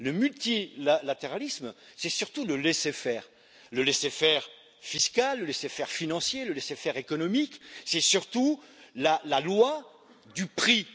Le multilatéralisme c'est surtout le laisser faire le laisser faire fiscal, le laisser faire financier, le laisser faire économique, c'est surtout la loi du prix.